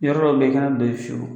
Yɔrɔ dɔ bɛ yen i kɛnɛ don yen fiyewu.